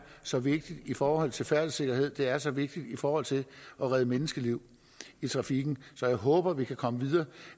så vigtigt i forhold til færdselssikkerhed det er så vigtigt i forhold til at redde menneskeliv i trafikken så jeg håber at vi kan komme videre